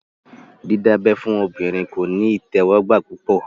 Dídábẹ́ fún obìnrin kò ní ìtẹ́wọ́gbà púpọ̀